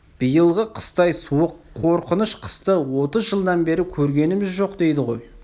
биылғы қыстай суық қорқыныш қысты отыз жылдан бері көргеніміз жоқ дейді ғой